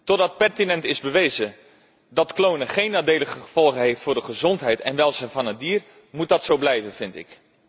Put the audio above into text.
Totdat pertinent is bewezen dat klonen geen nadelige gevolgen heeft voor de gezondheid en het welzijn van het dier, moet dat zo blijven, vind ik.